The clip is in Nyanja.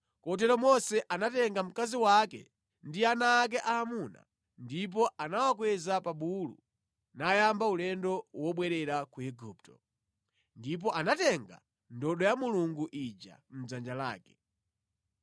Kotero Mose anatenga mkazi wake ndi ana ake aamuna, ndipo anawakweza pa bulu nayamba ulendo wobwerera ku Igupto. Ndipo anatenga ndodo ya Mulungu ija mʼdzanja lake.